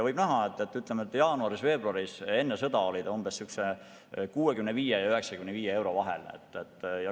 Võib näha, et jaanuaris-veebruaris enne sõda oli see 65 ja 95 euro vahel.